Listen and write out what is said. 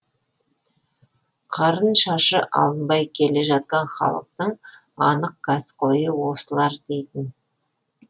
қарын шашы алынбай келе жатқан халықтың анық каскөйі осылар дейтін